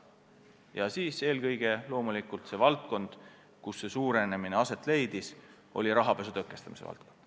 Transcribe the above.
Ja eelkõige loomulikult selleks, et tegeleda rohkem rahapesu tõkestamise valdkonnaga.